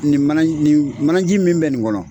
Nin mana nin manaji min bɛ nin kɔnɔ